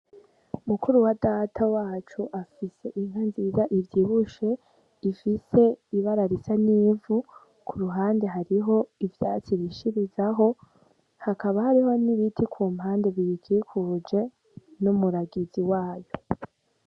Mukuru wa Data wacu afise inka nziza ivyibushe, ifise ibara risa n’ivu . Ku ruhande hariho ivyatsi irishirizaho hakaba hariho n’ibiti ku mpande biyikikuje n’umwungere wayo.